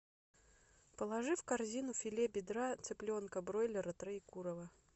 положи в корзину филе бедра цыпленка бройлера троекурово